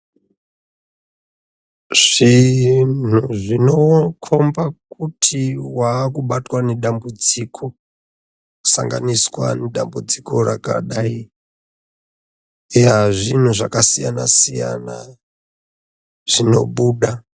Zvinhu zvinokomba kuti wakubatwa nedambudziko, kusanganiswa nedambudziko rakadai, eya zvinhu zvakasiyana siyana zvinobuda.